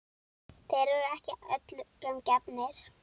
Þeir eru ekki öllum gefnir.